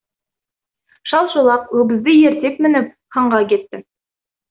шал шолақ өгізді ерттеп мініп ханға кетті